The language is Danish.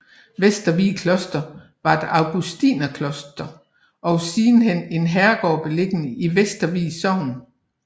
Vestervig Kloster var et augustinerkloster og sidenhen en herregård beliggende i Vestervig Sogn